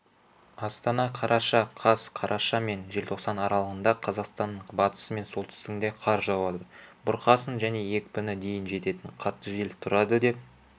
астана қараша қаз қараша мен желтоқсан аралығында қазақстанның батысы мен солтүстігінде қар жауады бұрқасын және екпіні дейін жететін қатты жел тұрадыдеп